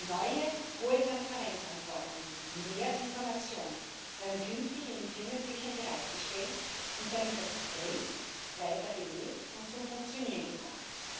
Neue hohe Transparenzanforderungen und mehr Informationen werden künftig in den Firmenbüchern bereitgestellt und damit das BRIS weiter belebt und zum Funktionieren gebracht.